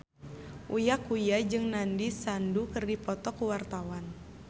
Uya Kuya jeung Nandish Sandhu keur dipoto ku wartawan